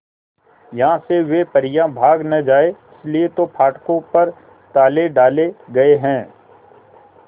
यहां से वे परियां भाग न जाएं इसलिए तो फाटकों पर ताले डाले गए हैं